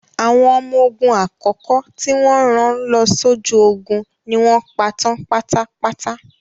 Àwọn ọmọ ogun àkọ́kọ́ tí wọ́n rán lọ sójú ogun ni wọ́n pa tán pátápátá.